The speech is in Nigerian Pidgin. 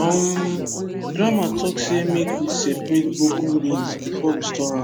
um grandma talk say make we separate broken beans before we store am